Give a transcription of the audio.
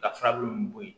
Ka furabulu min bo yen